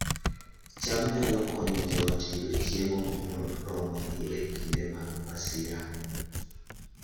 cham nyalo konyo joot yudo chiemo moromogi e kinde mag masira